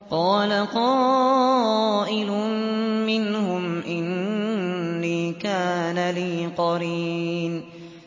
قَالَ قَائِلٌ مِّنْهُمْ إِنِّي كَانَ لِي قَرِينٌ